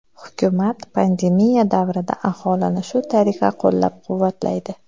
Hukumat pandemiya davrida aholini shu tariqa qo‘llab-quvvatlaydi.